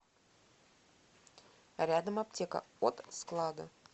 рядом аптека от склада